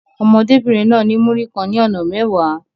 Ọmọdébìnrin náà ní Múrí kan ní ọ̀nà mẹ́wàá.